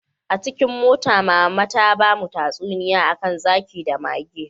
Acikin mota, mama my, ta bamu tatsuniya Akan zaki da mage.